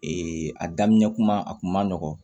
a daminɛ kuma a kun ma nɔgɔn